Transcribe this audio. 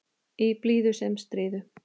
Í blíðu sem stríðu.